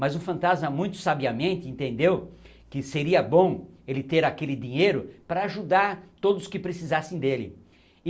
Mas o fantasma, muito sabiamente, entendeu que seria bom ele ter aquele dinheiro para ajudar todos que precisassem dele.